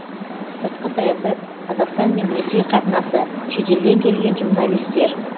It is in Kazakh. сыртқы саясат қазақстан мен ресей қатынасы шетелден келген журналистер